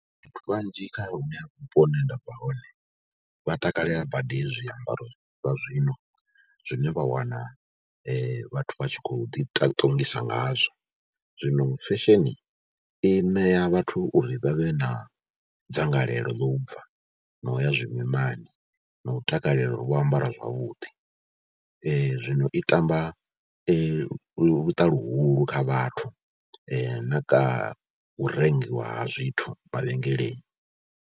Vhathu vhanzhi kha hune ha vhupo hune nda bva hone, vha takalela badi hezwi zwiambaro zwa zwino zwine vha wana vhathu vha tshi khou ḓiṱongisa ngazwo. Zwino fesheni i ṋea vhathu uri vha vhe na dzangalelo ḽo u bva no ya zwimimani na u takalela uri vho ambara zwavhuḓi. zwiino i tamba luṱa luhulu kha vhathu na u rengiwa ha zwithu mavhengeleni.